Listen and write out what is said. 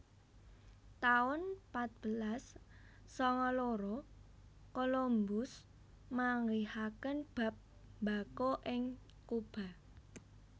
taun patbelas sanga loro Colombus manggihaken bab mbako ing Cuba